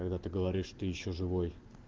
когда ты говоришь ты ещё живой